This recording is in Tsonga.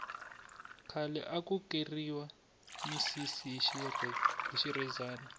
khale aku keriwa misisi hi xirhezani